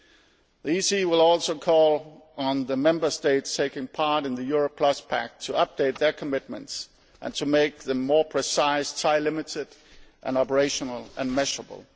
The European Council will also call on the Member States taking part in the Euro Plus Pact to update their commitments and to make them more precise, time limited, operational and measureable.